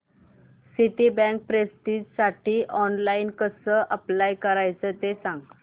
Citibank प्रेस्टिजसाठी online कसं apply करायचं ते सांग